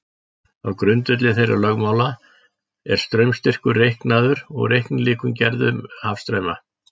Á grundvelli þeirra lögmála er straumstyrkur reiknaður og reiknilíkön gerð um hafstrauma.